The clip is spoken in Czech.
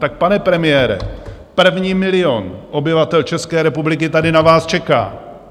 Tak pane premiére, první milion obyvatel České republiky tady na vás čeká.